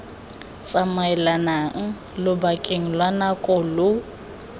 tsamaelang lobakeng lwa nako lo